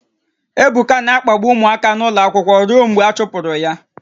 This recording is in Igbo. Ebuka na-akpagbu ụmụaka n'ụlọ akwụkwọ ruo mgbe a chụpụrụ ya